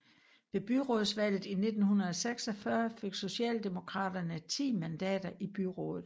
Ved byrådsvalget i 1946 fik Socialdemokraterne 10 mandater i byrådet